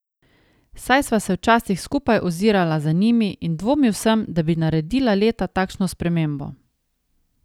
Saj sva se včasih skupaj ozirala za njimi in dvomil sem, da bi naredila leta takšno spremembo.